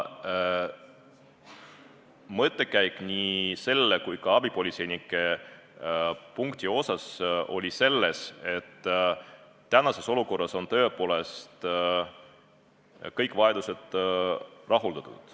Mõttekäik nii selle kui ka abipolitseinike punkti puhul oli selles, et tänases olukorras oleks tõepoolest kõik vajadused rahuldatud.